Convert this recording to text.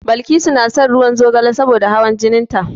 Balkisu na shan ruwan zogale saboda hawan jinin ta.